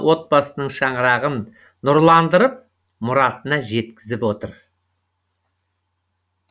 отбасының шаңырағын нұрландырып мұратына жеткізіп отыр